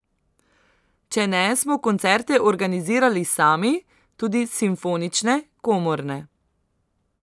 Če ne smo koncerte organizirali sami, tudi simfonične, komorne.